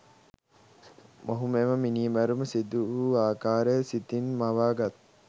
මොහු මෙම මිණිමැරුම සිදුවූ අකාරය සිතින් මවාගත්